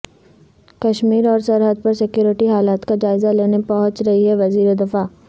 کشمیر اور سرحد پر سکیورٹی حالات کا جائزہ لینے پہنچ رہے ہیں وزیر دفاع